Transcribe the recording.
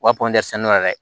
U ka yɛrɛ